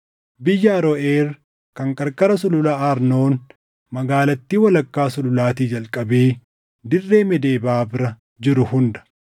Biyya Aroʼeer kan qarqara Sulula Arnoon, magaalattii walakkaa sululaatii jalqabee dirree Meedebaa bira jiru hunda